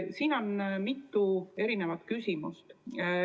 Siin on mitu küsimust.